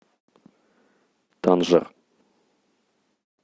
танжер